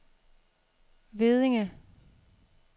Veddinge